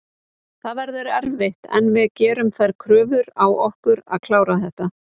Það verður erfitt en við gerum þær kröfur á okkur að klára þetta.